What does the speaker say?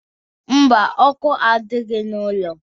Mba, ọkụ adịghị n'ụlọ